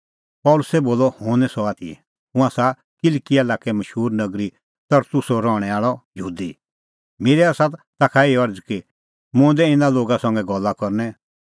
पल़सी बोलअ हुंह निं सह आथी हुंह आसा किलकिआ लाक्के मशूर नगरी तरसुसो रहणैं आल़अ यहूदी मेरी आसा ताखा एही अरज़ कि मुंह दै इना लोगा संघै गल्ला करनै